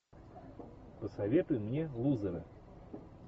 посоветуй мне лузеры